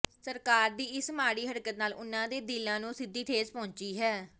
ਸਰਕਾਰ ਦੀ ਇਸ ਮਾੜੀ ਹਰਕਤ ਨਾਲ ਉਹਨਾਂ ਦੇ ਦਿਲਾਂ ਨੂੰ ਸਿੱਧੀ ਠੇਸ ਪਹੁੰਚੀ ਹੈ